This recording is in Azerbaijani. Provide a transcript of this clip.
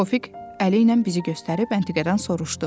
Tofiq əli ilə bizi göstərib Əntiqədən soruşdu.